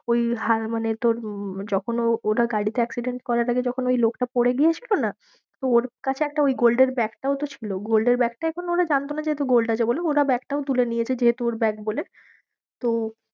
ওই মানে তোর যখন ও ওটার গাড়িতে accident করার আগে যখন ওই লোকটা পরে গিয়েছিলো না তো ওর কাছে একটা ওই gold এর ব্যাগটাও তো ছিল gold এর ব্যাগটা এখন ওরা জানতো যে gold আছে বলে ব্যাগটাও তুলে নিয়েছে যেহেতু ওর ব্যাগ বলে